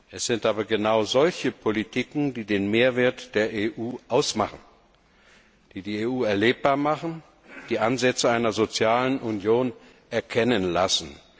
Es sind aber genau solche Politiken, die den Mehrwert der EU ausmachen, die die EU erlebbar machen, die Ansätze einer sozialen Union erkennen lassen.